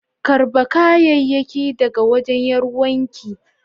karba kayayakin daga wajen Yaruwan ki.